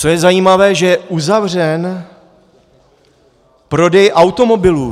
Co je zajímavé, že je uzavřen prodej automobilů.